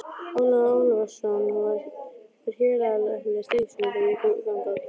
Ólafur Ólafsson var héraðslæknir í Stykkishólmi þegar ég kom þangað.